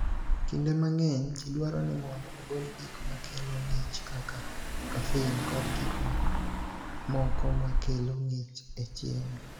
"Kinde mang’eny, ji dwaro ni mondo ogol “gik ma kelo ng’ich” kaka kafein kod gik mamoko ma kelo ng’ich e chiemo."